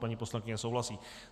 Paní poslankyně souhlasí.